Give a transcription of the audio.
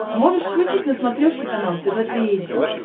можешь включить на смотрешке канал тв три эйч ди